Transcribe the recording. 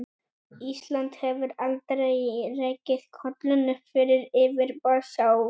Ísland hefur aldrei rekið kollinn upp fyrir yfirborð sjávar.